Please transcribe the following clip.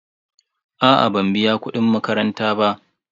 A'a ban biya kudin makaranta ba.